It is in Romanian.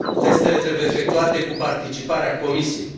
Testele trebuie efectuate cu participarea Comisiei.